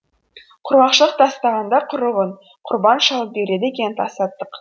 құрғақшылық тастағанда құрығынқұрбан шалып береді екен тасаттық